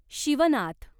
Shivnath